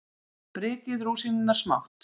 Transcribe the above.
Brytjið rúsínurnar smátt.